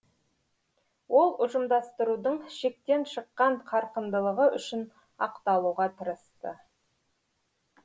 ол ұжымдастырудың шектен шыққан қарқындылығы үшін ақталуға тырысты